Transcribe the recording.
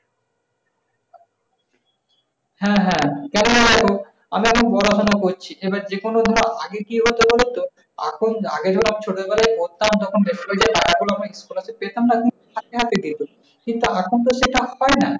হ্যাঁ হ্যাঁ কারণ ওইরকম আমি এখন পড়াশুনা করছি। তবে যে কোন ধর আগের এখন আগে ধর ছোট বেলাই করতাম তখন বেছে বেছে টাকা গুলো আমি পেতামা না? একদম হাতে হাতে পেতাম। কিন্তু এখন তো সেটা হয় না।